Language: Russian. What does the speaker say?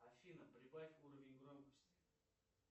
афина прибавь уровень громкости